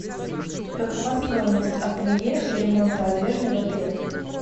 какова стоимость ателье и ремонта одежды в отеле